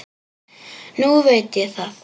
Nú veit ég það.